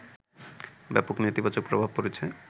ব্যাপক নেতিবাচক প্রভাব পড়েছে